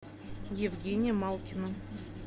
евгения малкина